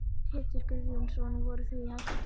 Pétur Guðjónsson: Voruð þið í hættu?